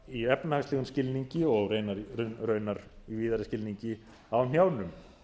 í efnahagslegum skilningi og raunar víðari skilningi á hnjánum